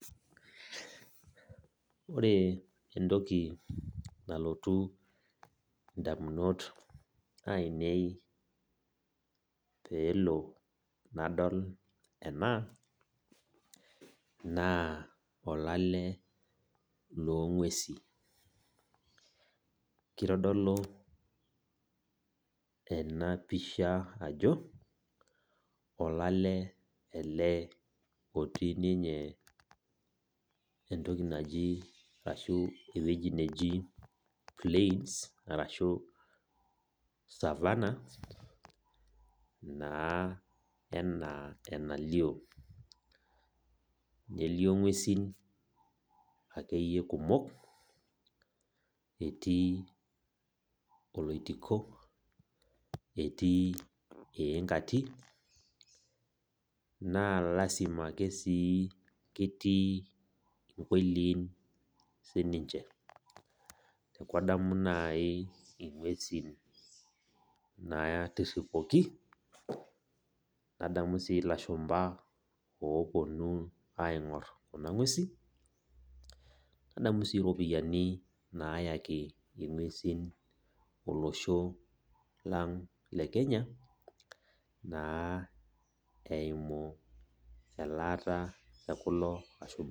Ore entoki nalotu indamunot ainei pelo nadol ena naa olale loongwesi .Kitodolu enapisha ajo olale etii ninye ashu ewueji neji plains or savanna naa enaa enalio .Elio ngwesin akeyie kumok etii oloitiko , etii iingati, naa lasima ake ketii inkoiliin .Adamu nai ingwesin natriripuoki , adamu sii ilashumba oponu aingor kuna ngwesin ,nadamu sii ropiyiani nayau kuna ngwesin naa eimu elata ekuna ngwesin.